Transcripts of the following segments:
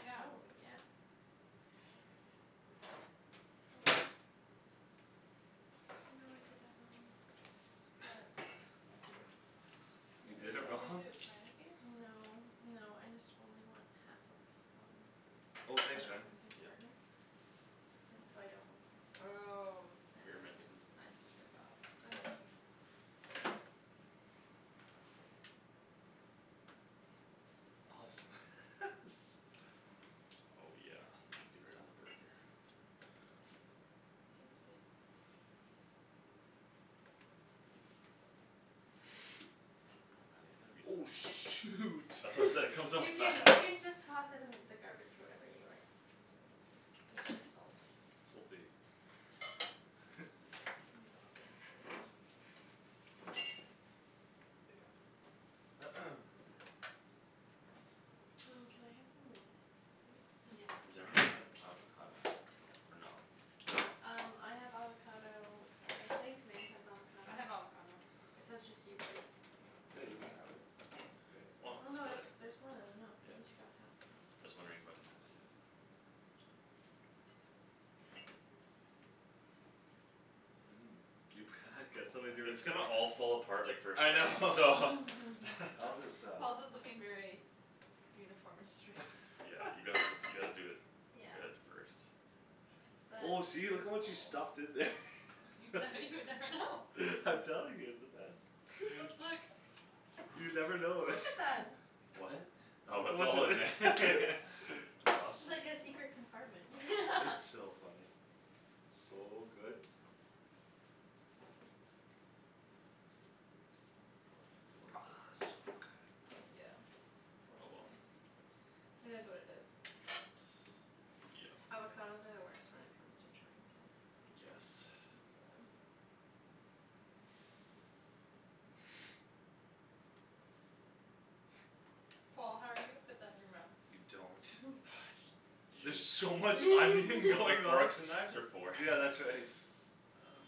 Yeah. Oh, yeah. Go in. Oh no, I did that wrong. What? I did it You What were you did it wrong. trying wrong? to do, a smiley face? No, no, I just only want half of some. Oh An thanks, man. open face Yeah. burger? And so I don't want this. Oh And Here, then just, Megan. I just forgot. Oh, thanks, Paul. I hope Awesome. so. Oh, yeah, melt it right on the burger. Thanks, babe. Oh, man, there's gonna be Oh, some shoot. That's what I'm saying, comes off You fast. can, you can just toss it in the garbage whatever you aren't using. It's just salt. Salty. Not the end of the world. Um, can I have some lettuce, please? Yes. Is everyone having avocado? Or no? No? Um, I have avocado. I think Meg has avocado. I have avocado. It's, so it's just you boys. Yeah, you can have it. I don't Why care. Oh not no, split there's, it? there's more than enough Yeah. we each got half though. Just wondering who hasn't had it yet. You It's gonna all fall apart, like, first I bite, so. know. I'll just um Paul's is looking very uniform and straight. Yeah, you gotta, you gotta do it Yeah. good at first. Oh, That see, look at is what you Paul. stuffed in there. Now you would never know. I'm telling you, it's the best. You never know. Look at that. What? Look Oh it's at all in there. what ju- That's awesome. It's like a secret compartment. It's so funny. So good. Oh, yeah, it's a little bit hard still. Yeah, that's Oh, well. okay. It is what it is. Yeah. Avocados are the worst when it comes to trying to I guess. Yeah. Paul, how are you gonna fit that in your mouth? You You don't. don't. Y- You There's so much It's onion what the going on. forks and knives are for. Yeah, that's right. Um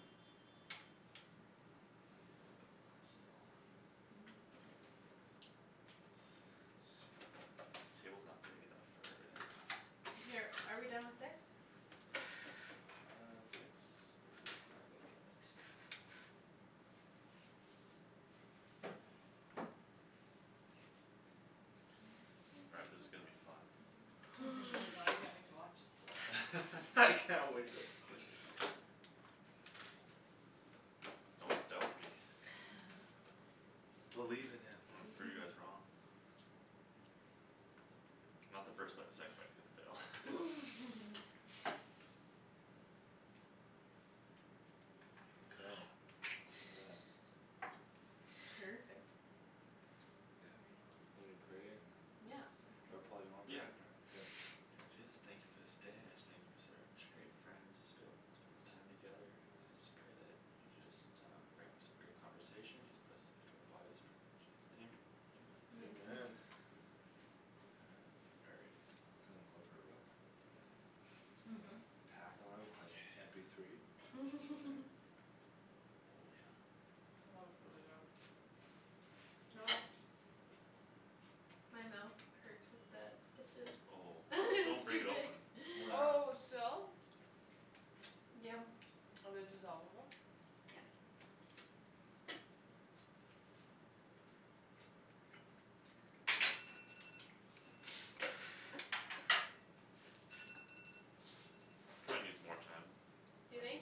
I need a little bit of that still. Thanks. This table's not big enough for everything. Here, are we done with this? I think so. Let me move it. All right, this is gonna be fun. Oh god, I can't wait to watch. I can't wait to Don't doubt me. Believe in him. I'm gonna prove you guys wrong. Not the first bite. The second bite's gonna Yeah. fail. Okay, yeah. Perfect. Perfect. Yeah, Right. are we praying and Yeah, Yeah, sounds Or great. sounds good. Paul, you wanna Yeah, pray? I can pray. K. Lord Jesus, thank you for this day, I just thank you for such great friends just Being able to spend this time together and I just pray that You just um bring up some great conversation just best fit to our bodies. Pray in Jesus' name, amen. Amen. Amen. Amen. All right. Feel like going for a run With my, you know? Pack on with my M Okay. P three. Oh, yeah. Oh, it's really good. Oh. My mouth hurts with the stitches. Oh, don't It's break too it big. open. Oh Oh, yeah. still? Yum. Are they dissolve-able? Yeah. Probably needs more time, You I think? guess.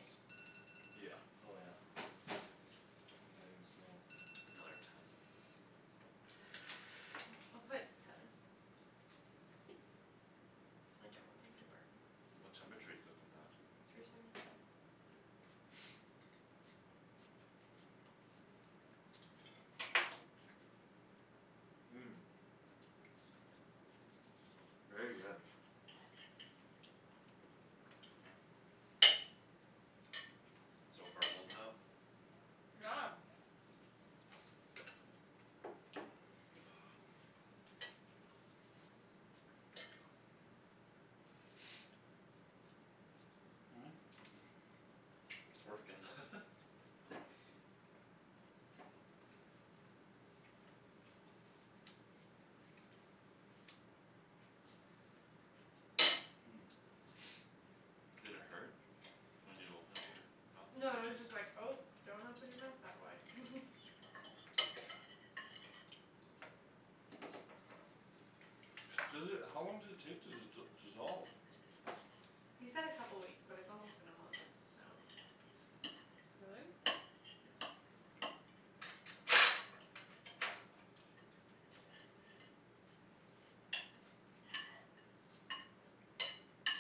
Yeah. Oh, yeah. I didn't steal one. Another ten. I'll put seven. I don't want them to burn. What temperature you cook 'em at? Three seventy five. Very good. So far holding up. Yeah. It's working. Did it hurt when you opened up your mouth? No, it The was stitches? just like, "Oh, don't open your mouth that wide." Seriously, how long does it take to d- dissolve? He said a couple weeks but it's almost been a month, so Really?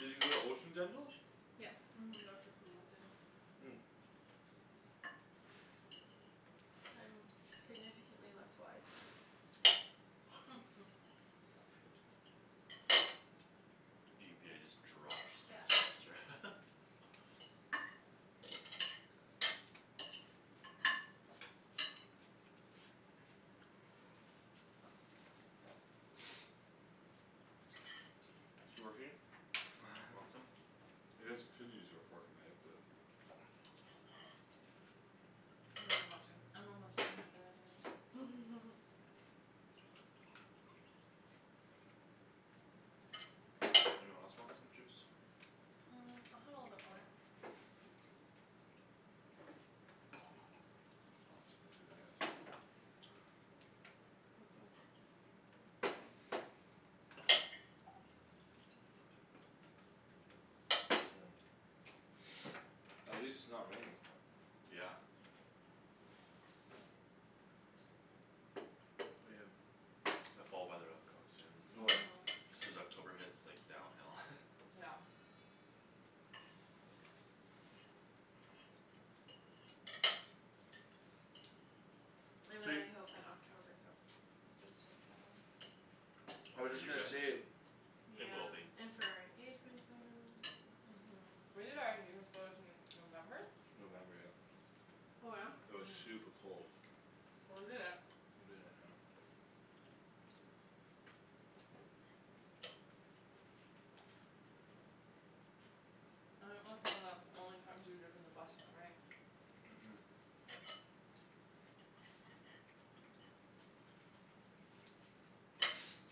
Did you go to Ocean Dental? Yep. Mhm, Doctor Poola did it. I'm significantly less wise now. GPA just drops next Yeah. semester. It working? Want some? I guess you could use your fork and knife but I don't really want to. I'm almost done with that anyways. Anyone else want some juice? Mm, I'll have a little bit more. I'll have some too if you have some left. Thank you. Mhm. Thanks, man. At least it's not raining. Yeah. The fall weather'll come soon. Oh, yeah. Mhm. Soon as October hits, like, downhill. Yeah. I So you really hope that October's a decent though. I Oh, was for just you gonna guys? say It will Yeah. be. And for our engagement photos and Mhm. We did our engagement photos in November? November, yep. Oh yeah? It was Mhm. super cold. Well, we did it. We did it, yep. I think that's one of the only times we've driven the bus in the rain. Mhm.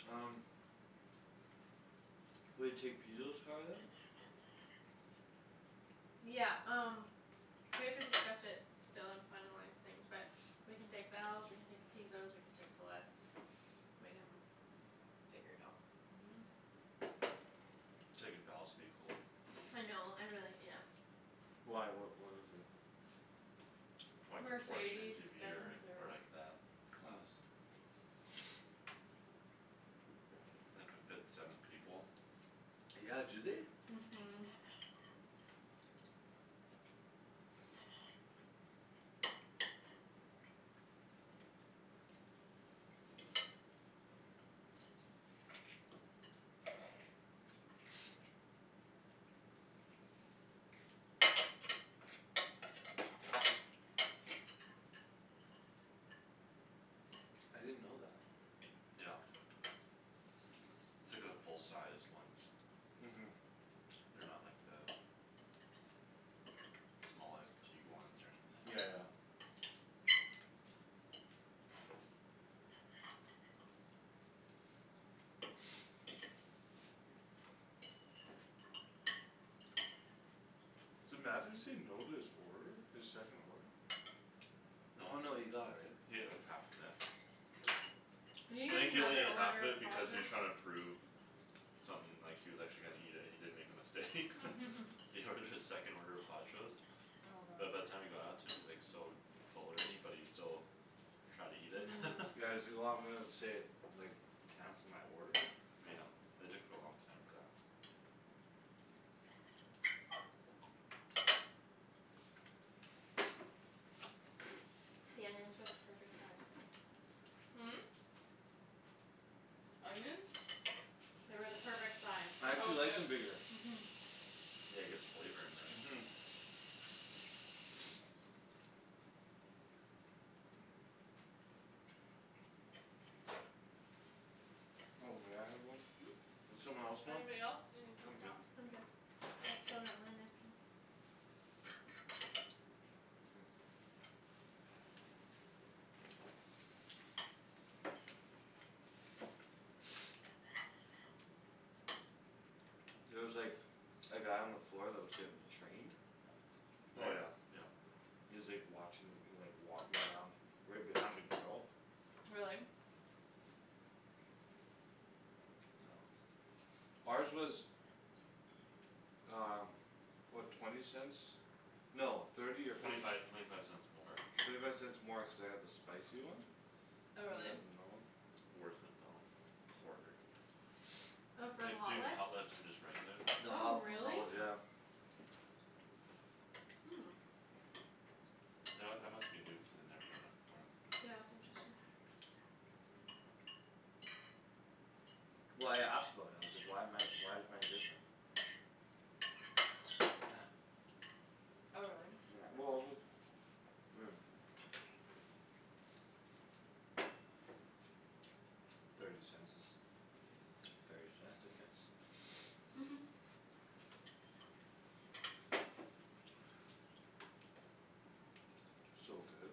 Um Will you take Pizo's car then? Yeah, um we have to discuss it still and finalize things but We can take Val's, we can take Pizo's, we can take Celeste's. We can figure it out. Mhm. Taking Val's would be cool. I know, I really, yes. Why, what, what is it? Probably could Porsche Mercedes SUV Benz or, or or like that class. It could fit seven people. Yeah, do they? Mhm. I didn't know that. Yep. It's like the full-sized ones. Mhm. They're not like the Small, like Tiguans or anything like Yeah, yeah. that. Did Matthew say no to his order? His second order? Oh, No. no, he got it, right? He had like half of it. Did he I eat think he only another needed half order of of it because he was Pajo's? trying to prove Something, like, he was actually gonna eat it and he didn't make a mistake. He ordered his second order of Pajo's. Oh But by god. the time it got out to him he was, like, so Full already but he still Tried to eat it. Yeah, he's like, "Oh, I'm gonna save, like, time for my order?" Yeah, it took a long time for that. The onions were the perfect size, Megan. Hmm? Onions? They were the perfect size. I Oh, actually like good. them bigger. Mhm. Yeah, it gets flavor in there. Mhm. Oh, may I have one? Hmm? Does someone else want? Anybody else need a I'm paper good. towel? I'm good. I still got my napkin. K. There was, like A guy on the floor that was getting Trained? Oh, Paul? yeah, yeah. He was, like, watching, like, he was, like, walking around Right behind a girl. Really? Yeah. Ours was Um, what? Twenty cents? No, thirty or Twenty fifty five, c- twenty five cents more. Thirty five cents more cuz I got the spicy one. They Oh, really? had the normal. Worth it though, quarter. Oh, for the Like Hot Jin Lips? Hot Lips and just regular lips. The Oh Oh, Hot, the really? Hot really? Lips, yeah. Yeah. Hmm. You know what? That must be new cuz they'd never done that before. Yeah, it's interesting. Well, I asked about it. I was like, "Why am I, why is mine different?" Oh, really? Yeah, well, just I mean Thirty cents is thirty cents, I guess. So good.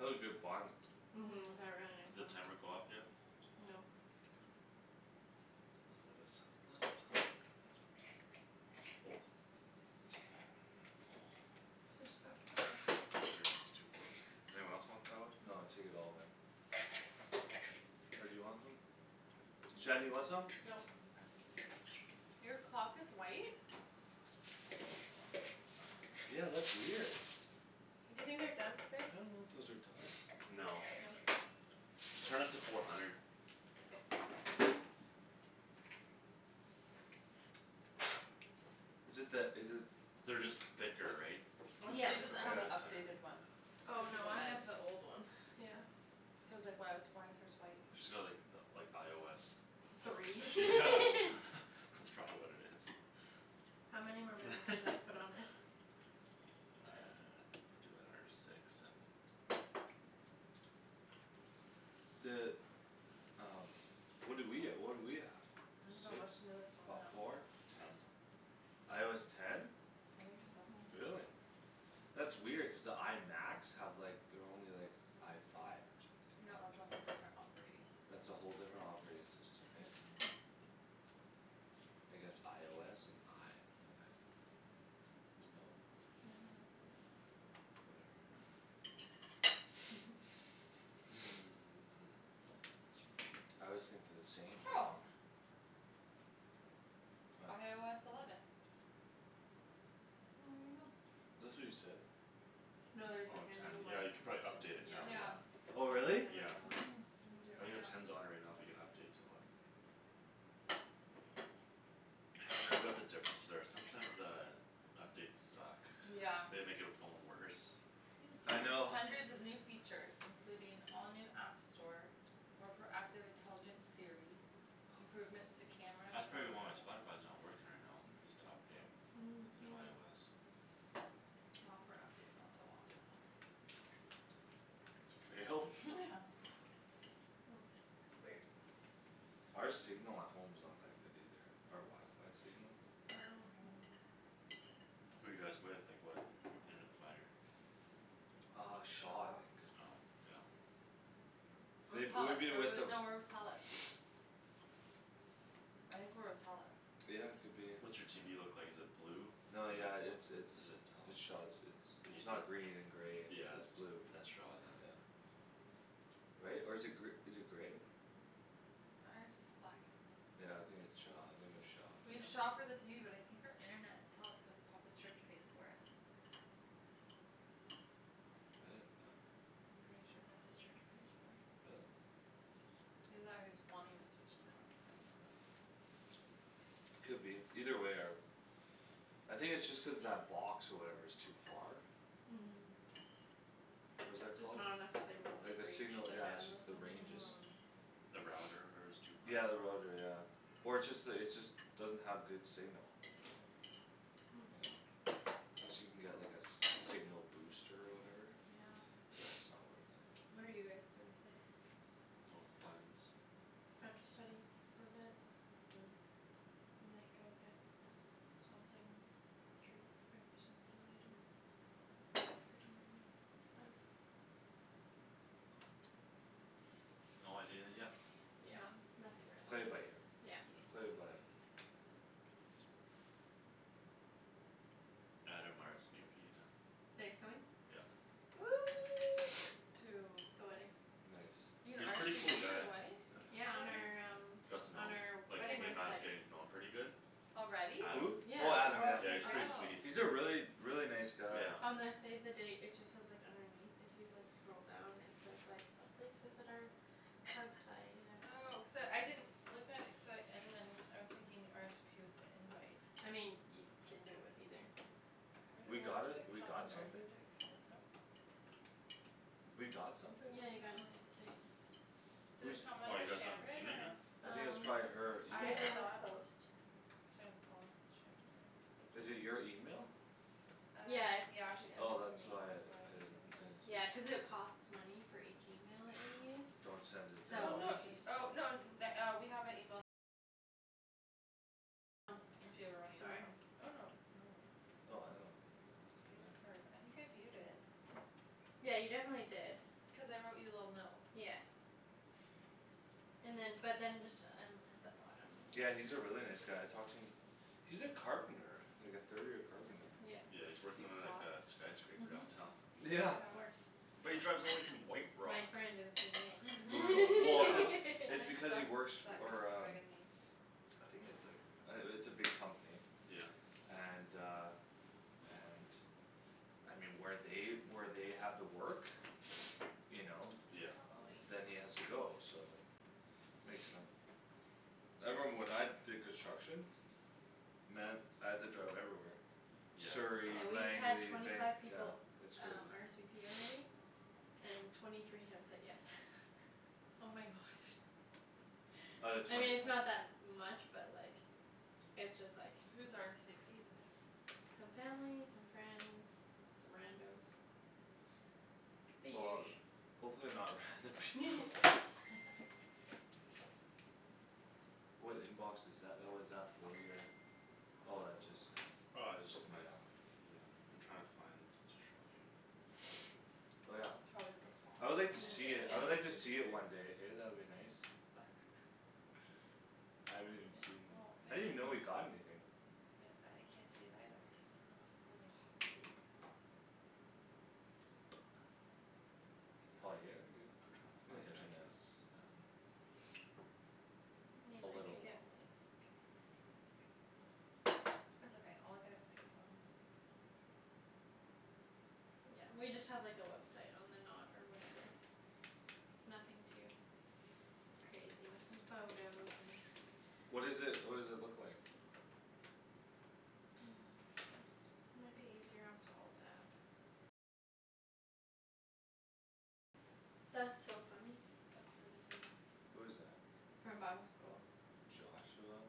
That's a good bun. Mhm, Mhm. they're really nice Did plums. timer go off yet? No. Okay. A little bit of salad left. Just spot kill 'em. Pretty much just two forks in here. Does anyone else want salad? No, take it all man. Or do you want some? Shan, do you No. want some? Nope. I'm fine. Your clock is white? Yeah, that's weird. Do you think they're done, babe? I don't know if those are done. No. No? Just turn up to four hundred. K. Is it that, is it They're just thicker, right? So Oh, just Yeah. try she to doesn't cook all the have way the the Yeah. center updated there. one. Oh Cuz of no, the I bag. have the old one, yeah. Cuz I was, like, "Why was, why is hers white?" She's got like the, like, IOS. Three. Yeah, Cool. that's probably what it is. How many more minutes do I put on it? Ten. Do, like, another six, seven. The um What do we, uh what do we have? I dunno, Six? what's the newest on Fo- that? four? Ten. IOS ten? I think so. Mhm. Really? That's weird cuz the I Macs have, like, they're only, like, I five No, or that's something, right? a whole different operating system. That's a whole different operating system, hey? I guess IOS and I five. There's no I dunno. Whatever. Sure. I always think they're the same. What? IOS eleven. Well, Well, there there you you go. go. That's what you said. No, No, there's, there's, Oh, like, like, a a new ten. one new Yeah, you one. could probably too, update it yeah. now, Yeah. yeah. Oh Already really? have a Yeah. new one. Mhm. I'm gonna do it I think right the now. ten's on it right now but you can update to eleven. Haven't read what the differences are. Sometimes the Updates suck. Yeah. They make your phone worse. Yum I know. Hundreds of new features, including all new app store More proactive intelligent Siri Improvements to camera and That's probably photo why my Spotify's not working right now. Needs to update. New Maybe IOS. Software update failed. Oh, well, I'll do it at home. For real? Yeah. Hmm, weird. Our signal at home's not that good either. Our wifi signal. Oh, okay. No. Who you guys with? Like what internet provider? Uh Shaw, I Shaw. think. Oh, yeah. Or They, we've Telus. Are been we with with, them no, we're with Telus. I think we're with Telus. Yeah, could be, What's your TV yeah. look like, is it blue? Or No, yeah, it's, what's it? Or is it's, it it's Shaw. it's, it's Telus? It's It's the not green and grey; it's, Yeah, it's that's, blue. that's Shaw then. Yeah. Right? Or is it gr- is it grey? Ours is black and blue. Yeah, I think it's Shaw, I think we have Shaw. We have Yeah. Shaw for the TV but I think our internet is Telus cuz Papa's church pays for it. I didn't know that. I'm pretty sure Papa's church pays for it. Really? Either that or he's wanting to switch to Telus. I don't remember. Could be. Either way our I think it's just cuz that box or whatever is too far? What is that Just called? not enough signal Like like the reach signal, the yeah, it's just bandwidth the or range is whatever. Mhm. The router, whatever, is too far? Yeah, the router, yeah. Or it's just the, it's just Doesn't have good signal. You know? Guess you can get like a s- signal booster or whatever? Yeah. But it's not worth it. What are you guys doing tonight? No plans. I have to study for a bit. Oh. We might go get something, treat or something later after dinner maybe, I dunno. No idea yet. Yeah, nothing Play it by really. ear. Yeah. Play it by Oh my goodness. Adam RSVP'd. That he's coming? Yep. To The wedding. Nice. You can He's pretty RSVP cool to guy. the wedding? Yeah, on our Already? um Got to know on him. our Like wedding me and Matt are website. getting to know him pretty good. Already? Who? Adam. Yeah, Oh Adam? Adam, our yeah. Yeah, website's he's ready. pretty Oh. sweet. He's a really, really, nice guy. Yeah. On the save the date it just says, like, underneath if you, like, scroll down it says like, uh "Please visit our website at" Oh, cuz uh I didn't Look at it cuz I, and then I was thinking RSVP with the invite. I mean, you can do it with either. We Where, got what a, does it we come got under? something? Did it come out, nope. We got something? Yeah, you got a Mhm. save the date. Did it Whose come Oh, under you guys haven't Shandryn seen it yet? or I think it's Um, probably her email. I Paperless thought Post. Shan and Paul and Shandryn, there it is, save Is the it date. your email? Uh Yeah, it's, yeah. yeah, she sent it Oh to me; that's why that's I, why I you didn't, didn't get I it. didn't Yeah, see. cuz it costs money for each email that you use Don't send it Oh, So to no, we anyone. just y- oh, no n- na- uh we have a email If you ever wanna use that one. Oh, no, no worries. Oh I don't you know, View it the doesn't matter. card. I think I viewed it. Yeah, you definitely did. Cuz I wrote you a little note. Yeah. And then, but then just um at the bottom when Yeah, you he's a really nice guy. I talked to him. He's a carpenter. Like a third year carpenter. Yep. Yeah, he's Do working you He on like floss? a skyscraper downtown. Mhm, Yeah. of course. But he drives all the way from White Rock. My friend did the Brutal, well, cuz CVing. It's Except she because he works suck and for it's um bugging me. I think it's, like, uh it's a big company. Yeah. And uh and I mean, where they, where they have the work You know Yeah. It's not loading. Then he has to go, so Makes sense. I remember when I did construction Man, I had to drive everywhere Yeah, Surrey, Yeah, we've it sucks. had Langley, twenty Vanc- five yeah. people It's um crazy. RSVP already. And twenty three have said yes. Oh my gosh. Out of I mean, twenty it's fi- not that much but, like It's just, like Who's RSVP'd yes? Some family, some friends, some rando's The Well, usu. hopefully they're not random people. What inbox is tha- oh, is that for your Oh, that's just uh Oh, this is just my mail. Yeah. I'm trying to find to show you. Oh, yeah. Probably the I would like to see Yeah, it, I would and like to his see it computers. one day, hey? That would be nice. What? I haven't even Yeah, seen, well, I babe, didn't even know you it's like got anything. I can't see it either. Not loading. Poop. Paul, are you here, are you I'm trying to here? find The it. I can't internet's down. Hmm, A I little could get water. mine, I think. It's okay, I'll look at it when I get home. Yeah, we just have, like, a website on the Knot or whatever. Nothing too crazy, with some photos and What is it, what does it look like? Might be easier on Paul's app. That's so funny. That's really weird. Who is that? From bible school. Joshua,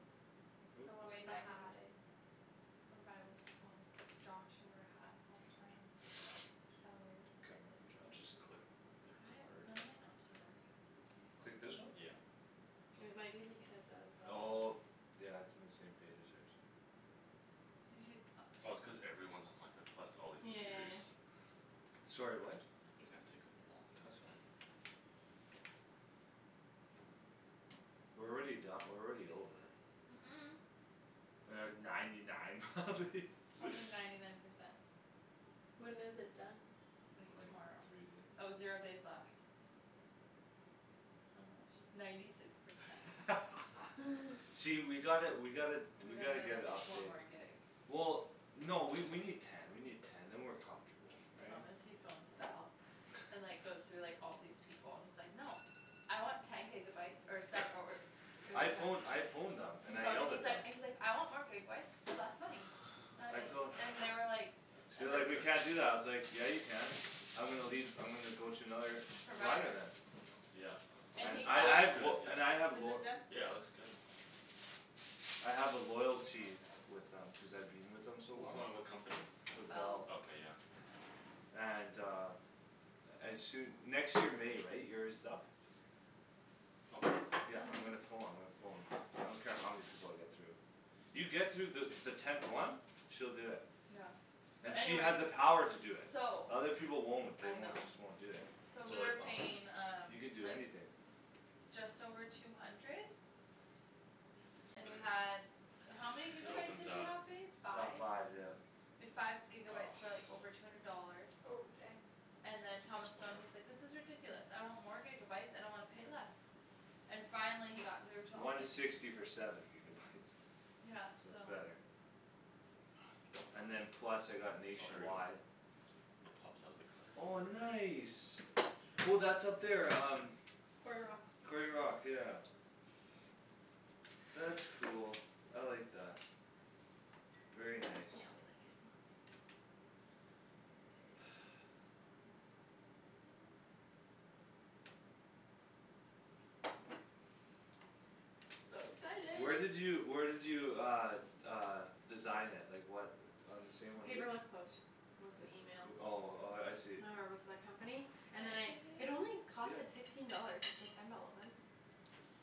who? The one Way with the back in hat. the day. From bible school, Josh who wore a hat all the time. It's kinda weird. Can't remember Josh. Just click the Why is it card. none of my apps are working? Click this one? Yeah. It might be because of um Oh. Yeah, it's in the same page as hers. Did you, oh. Oh, it's cuz everyone's on wifi plus all these Yeah, yeah, yeah, computers. yeah. Sorry, what? It's gonna take a long That's fine. time. We're already don- we're already over. Mm- mm. We're at ninety nine probably. Probably ninety nine percent. When is it done? Like Like tomorrow. three Oh, zero days days. left. How much? Ninety six percent. See, we gotta, we gotta, We we gotta gotta get a get, like, one update. more gig. Well, no, we, we need Ten, we need ten, then we're comfortable, right? Honestly phones Bell. And, like, goes through, like, all these people. And he's like, "No!" "I want ten gigabyes or se- or" I phone, I phoned them He and I phoned yelled and he's at them. like, he's like, "I want more gigabyes for less money." That I and, tol- and they were like They And were That's like, like "We can't do epic. that." I was like "Yeah, you can." "I'm gonna leave, I'm gonna go to another" "provider Provider. then." Yep. It, And And he I, that I got looks have good, lo- yeah. and I have Is lo- it done? Yeah, it looks good. I have a loyalty with them cuz I've been with them so long. Hold on, what company? With Bell. Bell. Okay, yeah. And uh As soo- next year May, right? Year's up. Oh. Yeah, I'm gonna pho- I'm gonna phone. I don't care how many people I get through. You get through the, the tenth one. She'll do it. Yeah. And But she has anyways the power to do it. So The other people won't. They I know. won't, just won't do it. So So we like, were oh. paying um You can do like anything. Just over two hundred You hit the And we card. had, how many It gigabytes opens did we up. have, babe? About Five? five, yeah. We had five gigabytes for, like, over two hundred dollars. Oh, dang. And Supposed then Thomas to phoned, he's swipe. like, "This is ridiculous. I want more gigabytes and I wanna pay less." And finally he got through till One it sixty for seven gigabytes. Yeah, So so. it's better. And then It's plus I got Oh, here we go. nationwide It pops out of the card Oh, or whatever. nice. Oh, that's up there um Quarry Rock. Quarry Rock, yeah. That's cool; I like that. Very Yeah, we nice. like it more. So Where excited. did you, where did you uh Uh design it? Like what On the same one we'd Paperless Post was the Like, email. uh, oh, oh, yeah, I see. Or was the company Can and then I I, see, it babe? only cost, Yep. like, fifteen dollars to send all of them.